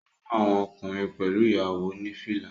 Ó fún àwọn ọkùnrin pẹ̀lú ìyàwó ní fìlà